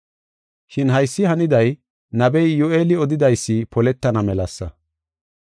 Shin haysi haniday nabey Iyyu7eeli odidaysi poletana melasa.